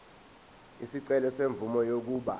isicelo semvume yokuba